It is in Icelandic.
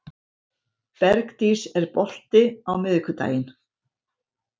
Bergdís, er bolti á miðvikudaginn?